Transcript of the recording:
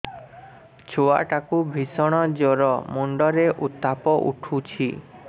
ଛୁଆ ଟା କୁ ଭିଷଣ ଜର ମୁଣ୍ଡ ରେ ଉତ୍ତାପ ଉଠୁଛି